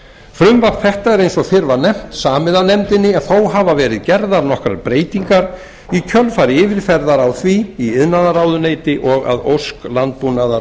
frumvarp þetta er eins og fyrr var nefnt samið af nefndinni en þó hafa verið gerðar nokkrar breytingar í kjölfar yfirferðar á því í iðnaðarráðuneyti og að ósk landbúnaðar